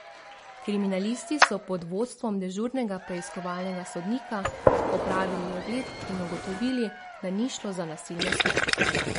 Kriminalisti so pod vodstvom dežurnega preiskovalnega sodnika opravili ogled in ugotovili, da ni šlo za nasilno smrt.